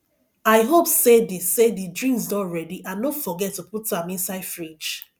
i hope say the say the drinks don ready and no forget to put am inside fridge